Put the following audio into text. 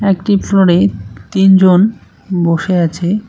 একটি ফ্লোরে তিনজন বসে আছে।